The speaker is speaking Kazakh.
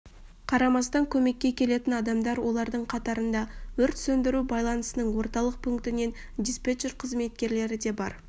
қарамастан көмекке келетін адамдар олардың қатарында өрт сөндіру байланысының орталық пункінің диспетчер қызметкерлері де бар